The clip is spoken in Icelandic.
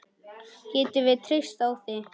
Getum við treyst á þig?